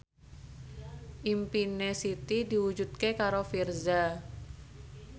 impine Siti diwujudke karo Virzha